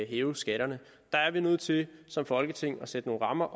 hæve skatterne der er vi nødt til som folketing at sætte nogle rammer